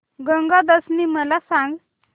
गंगा दशमी मला सांग